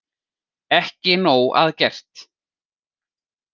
Ekki nóg að gert